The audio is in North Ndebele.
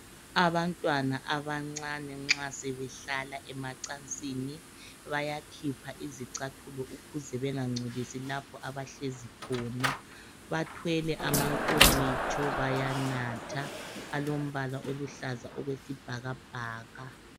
Abantwana abancane nxa sebehlala emacansini bayakhipha izicathulo ukuze bengangcolisi abahlezi khona. Bathwele amankomitsho bayanatha alombala oluhlaza okwesibhakabhaka.